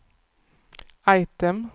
item